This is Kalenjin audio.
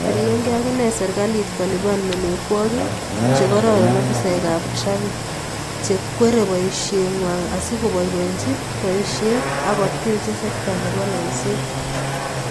Poryege ak inee serikalit kolipan melekwogiik chekororon ofisaekab traffic cheikweriei boisyeng'wai asi koboiboichi boisyet ak koteechei sekta nebo loiseet.